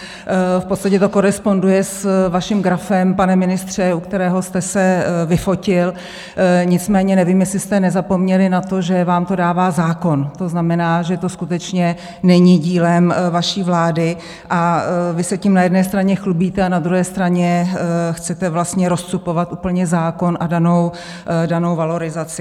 V podstatě to koresponduje s vaším grafem, pane ministře , u kterého jste se vyfotil, nicméně nevím, jestli jste nezapomněli na to, že vám to dává zákon, to znamená, že to skutečně není dílem vaší vlády, a vy se tím na jedné straně chlubíte, a na druhé straně chcete vlastně rozcupovat úplně zákon a danou valorizaci.